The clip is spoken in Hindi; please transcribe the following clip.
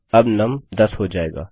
अब नुम 10 हो जाएगा